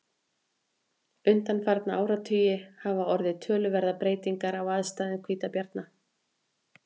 undanfarna áratugi hafa orðið töluverðar breytingar á aðstæðum hvítabjarna